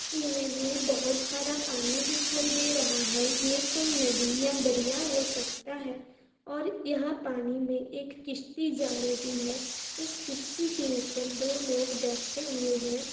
Image में बहुत सारा पानी दिखाई दे रहा है ये कोई नदी या दरिया हो सकता है और यहाँ पानी में एक किस्ती जा रही है उस किस्ती के उपर दो लोग बैठे हुए हैं।